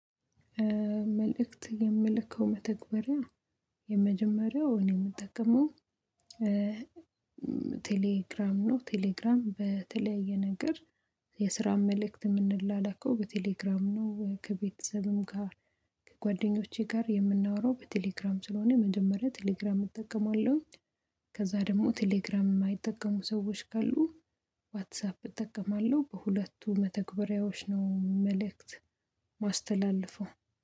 መልእክት የምልከው መተግበሪያ የመጀመሪያው እኔ የምጠቀመው ቴሌግራም ነው። ቴሌግራም በተለያየ ነገር የስራ መልእክት የምንላላከው በቴሌግራም ነው። ከቤተሰብም ጋር ከጓደኞቼ ጋር የምናወራው በቴሌግራም ስለሆነ መጀመሪያ ቴሌግራም እጠቀማለሁኝ። ከዛ ደግሞ ቴሌግራም የማይጠቀሙ ሰዎች ካሉ ዋትሳፕ እጠቀማለሁ። በሁለቱ መተግበሪያዎች ነው መልእክት ማስተላልፈው